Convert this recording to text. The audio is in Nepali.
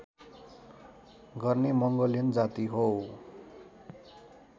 गर्ने मङ्गोलियन जाति हो